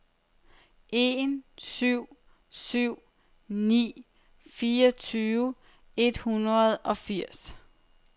en syv syv ni fireogtyve et hundrede og firs